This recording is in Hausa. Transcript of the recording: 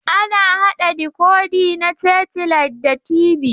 Ana haɗa dikodi na setilait da TV.